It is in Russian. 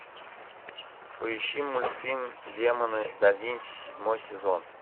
поищи мультфильм демоны да винчи седьмой сезон